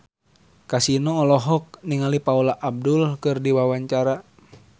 Kasino olohok ningali Paula Abdul keur diwawancara